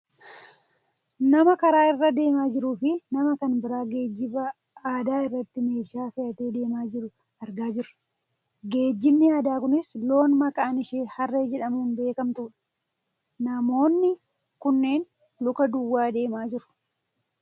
Nama karaa irra deemaa jiruufi nama kan biraa geejiiba aadaa irratti meeshaa fe'atee deemaa jiru argaa jirra. Geejjibni aadaa kunis loon maqaan ishee harree jedhamuun beekkamtudha. Namoonni kunneen luka duwwaa deemaa jiru.